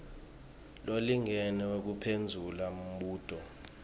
lolingene wekuphendvula umbuto